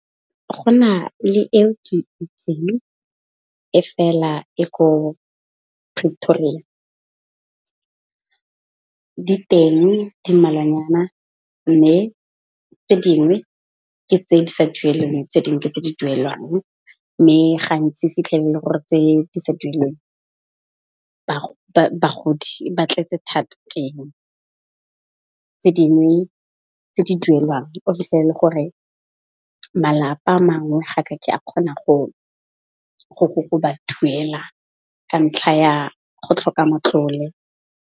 Go na le eo ke itseng e fela e ko Pretoria. Di teng di mmalwanyana mme tse dingwe ke tse di sa dueleng tse dingwe ke tse di duelwang, mme gantsi o fitlhele e le gore tse di sa duelweng bagodi ba tletse thata teng. Tse dingwe tse di duelwang o fitlhele e le gore malapa a mangwe ga kake a kgona go ba duela ka ntlha ya go tlhoka matlole.